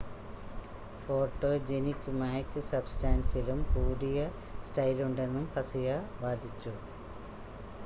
photogenic മായ്ക്ക് സബ്സ്റ്റാൻസിലും കൂടിയ സ്റ്റൈലുണ്ടെന്നും ഹസിയ വാദിച്ചു